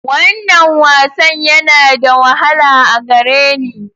Wannan wasan yana da wahala a gare ni.